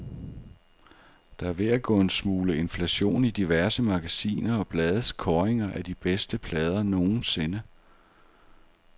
Der er ved at gå en smule inflation i diverse magasiner og blades kåringer af de bedste plader nogensinde.